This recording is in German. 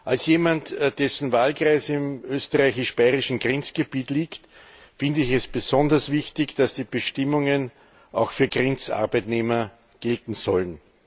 Als jemand, dessen Wahlkreis im österreichisch bayerischen Grenzgebiet liegt, finde ich es besonders wichtig, dass die Bestimmungen auch für Grenzarbeitnehmer gelten sollen.